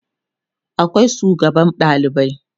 akwai sugaban ɗalibai